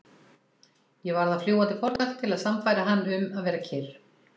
Ég varð að fljúga til Portúgal til að sannfæra hann um að vera kyrr.